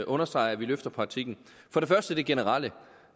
understreger at vi løfter praktikken for det første det generelle